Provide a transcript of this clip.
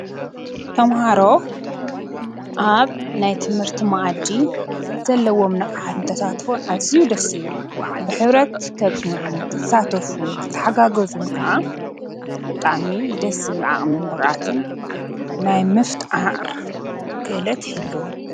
ቶምሃሮ ኣብ ናይ ትምህርቲ መኣዲ ዘለዎም ነቓዓት እንተታትፈን ኣዚዩ ደሲብል ብኅብረት ከፅኑዑ ክሳተፉን ክተሓጋገዙን ከዓ ጣሚ ደስ ዝብል ዓቕምን ብቓዓትን ናይ ምፍጥር ክእለት ይሂልዎም